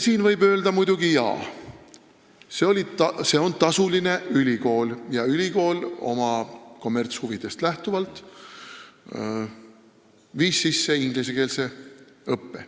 Siin võib muidugi öelda, et jaa, see on tasuline ülikool ja ta oma kommertshuvidest lähtuvalt viis sisse ingliskeelse õppe.